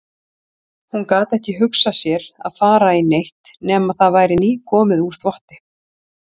Hún gat ekki hugsað sér að fara í neitt nema það væri nýkomið úr þvotti.